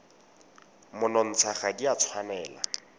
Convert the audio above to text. monontsha ga di a tshwanela